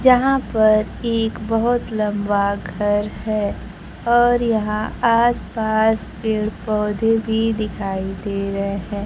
जहां पर एक बहुत लंबा घर है और यहां आस पास पेड़ पौधे भी दिखाई दे रहे हैं।